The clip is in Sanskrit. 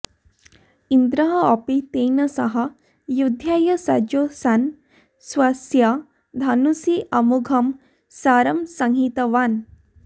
इन्द्रोऽपि तेन सह युद्धाय सज्जो सन् स्वस्य धनुषि अमोघं शरं संहितवान्